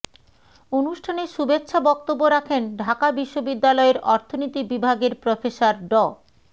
অনুষ্ঠানে শুভেচ্ছা বক্তব্য রাখেন ঢাকা বিশ্ববিদ্যালয়ের অর্থনীতি বিভাগের প্রফেসর ড